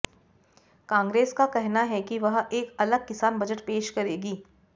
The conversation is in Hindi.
कांग्रेस का कहना है कि वह एक अलग किसान बजट पेश करेगी